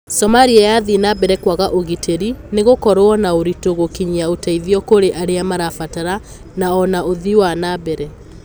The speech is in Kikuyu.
Somalia yathii nambere kuaga ũgiteri, ni higukorwo na uritu gukinyia ũteithio kuri aria marabatara, na ona uthii wa nambere.